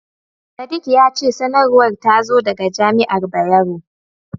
Sadik ya ce sanarwar ta zo daga jami'ar Bayero.